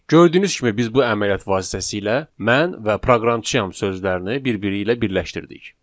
Gördüyünüz kimi biz bu əməliyyat vasitəsilə mən və proqramçıyam sözlərini bir-biri ilə birləşdirdik.